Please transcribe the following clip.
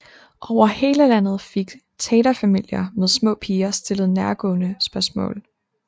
Over hele landet fik taterfamilier med små piger stillet nærgående spørgsmål